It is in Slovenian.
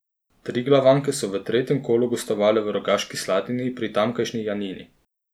Triglavanke so v tretjem kolu gostovale v Rogaški Slatini pri tamkajšnji Janini.